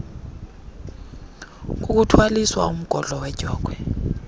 kukuthwaliswa umgodlo wedyokhwe